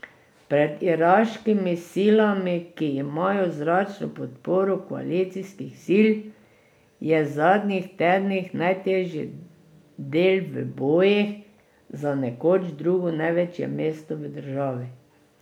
Pred iraškimi silami, ki imajo zračno podporo koalicijskih sil, je v zadnjih tednih najtežji del v bojih za nekoč drugo največje mesto v državi.